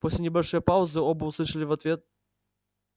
после небольшой паузы оба услышали в ответ